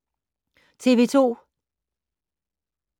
TV 2